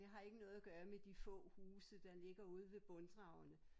Det har ikke noget at gøre med de få huse der ligger ude ved Brunddragene